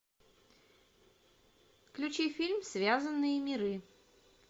включи фильм связанные миры